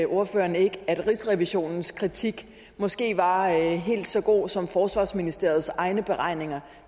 ordføreren ikke at rigsrevisionens kritik måske var helt så god som forsvarsministeriets egne beregninger